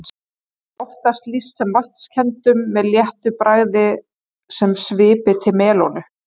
Er þeim oftast lýst sem vatnskenndum með léttu bragði sem svipi til melónu.